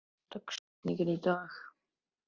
Immý, hver er dagsetningin í dag?